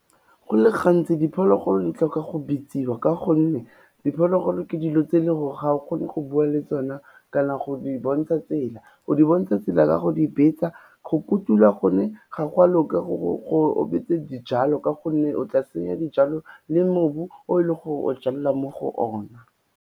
Go le gantsi diphologolo di tlhoka go bitsiwa ka gonne, diphologolo ke dilo tse e le gore ga o kgone go bua le tsona kana go di bontsha tsela, o di bontsha tsela ka go di betsa, go kotula gone ga gwa loka beetse dijalo ka gonne o tla senya dijalo le mobu o leng gore o jalela mo go o na.